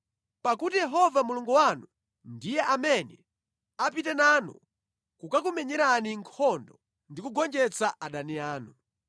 pakuti Yehova Mulungu wanu ndiye amene apite nanu kukakumenyerani nkhondo ndi kugonjetsa adani anu.”